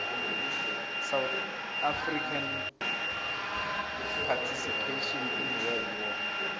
south african participation in world war